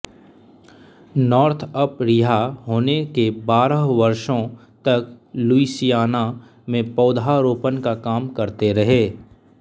Northup रिहा होने के बारह वर्षों तक लुईसियाना में पौधारोपण का काम करते रहे